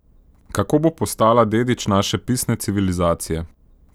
Kako bo postala dedič naše pisne civilizacije?